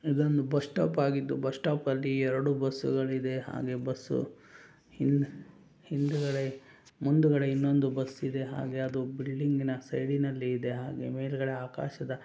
ಇದು ಒಂದು bus stop ಆಗಿದ್ದು ಬಸ್ ಸ್ಟಾಪಲ್ಲಿ ಎರಡು ಬಸ್ಸುಗಳಿವೆ ಹಾಗೆ ಬಸ್ಸು ಹಿಂದ್ ಹಿಂದುಗಡೆ ಮುಂದುಗಡೆ ಇನ್ನೊಂದು ಬಸ್ಸು ಇದೆ ಅದು ಬಿಲ್ಡಿಂಗಿನ ಇನ್ನೊಂದು ಸೈಡಿನಲ್ಲಿ ಇದೆ ಮೇಲ್ಗಡೆ ಆಕಾಶದ --